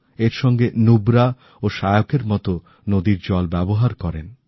এর সঙ্গে নুব্রা ও শিওকএর মত নদীর জল ব্যবহার করেন